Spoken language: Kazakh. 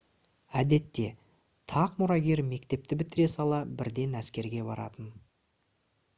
әдетте тақ мұрагері мектепті бітіре сала бірден әскерге баратын